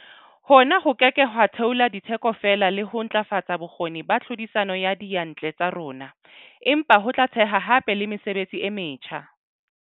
Hona ho ke ke ha theola ditheko fela le ho ntlafatsa bokgoni ba tlhodisano ya diyantle tsa rona, empa ho tla theha hape le mesebetsi e metjha.